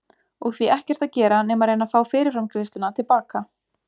Og því ekkert að gera nema að reyna að fá fyrirframgreiðsluna til baka.